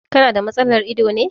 Ka na da matsalar ido ne.